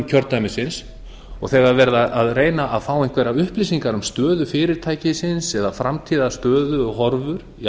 kjördæmisins og þegar verið er að reyna að fá einhverjar upplýsingar um stöðu fyrirtækisins eða framtíðarstöðu og horfur í